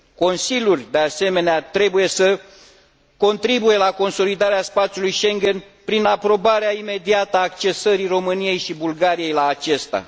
Consiliul, de asemenea, trebuie să contribuie la consolidarea spațiului Schengen prin aprobarea imediată a accesării României și Bulgariei la acesta.